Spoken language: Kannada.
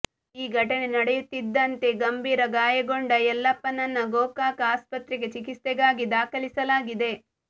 ಈ ಘಟನೆ ನಡೆಯುತ್ತಿದ್ದಂತೆ ಗಂಭೀರ ಗಾಯಗೊಂಡ ಯಲ್ಲಪ್ಪನನ್ನ ಗೋಕಾಕ ಆಸ್ಪತ್ರೆಗೆ ಚಿಕಿತ್ಸೆಗಾಗಿ ದಾಖಲಿಸಲಾಗಿದೆ